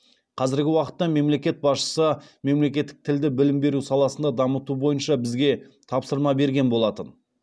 қазіргі уақытта мемлекет басшысы мемлекеттік тілді білім беру саласында дамыту бойынша бізге тапсырма берген болатын